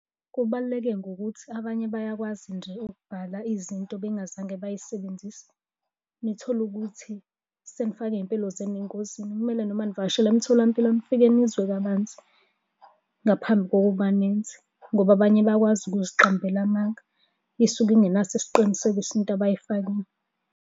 Kubaluleke ngokuthi abanye bayakwazi nje ukubhala izinto bengazange bay'sebenzise. Nithole ukuthi senifake iy'mpilo zenu engozini. Kumele noma nivakeshela emtholampilo nifike nizwe kabanzi ngaphambi kokuba nenze, ngoba abanye bayakwazi ukuziqambela amanga. Isuke ingenaso isiqinisekiso into abayifakile.